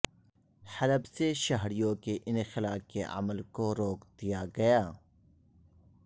حلب سے شہریوں کے انخلاء کے عمل کو روک دیا گیا